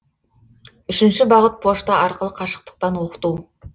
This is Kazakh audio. үшінші бағыт пошта арқылы қашықтықтан оқыту